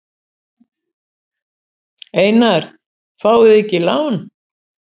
Einar: Fáið þið ekki lán?